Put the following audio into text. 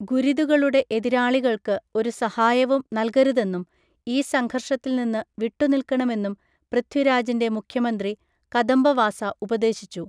ഗുരിദുകളുടെ എതിരാളികൾക്ക് ഒരു സഹായവും നൽകരുതെന്നും ഈ സംഘർഷത്തിൽ നിന്ന് വിട്ടുനിൽക്കണമെന്നും പൃഥ്വിരാജിൻ്റെ മുഖ്യമന്ത്രി കദംബവാസ ഉപദേശിച്ചു.